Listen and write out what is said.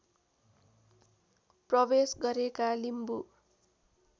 प्रवेश गरेका लिम्बू